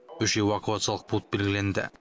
үш эвакуациялық пункт белгіленді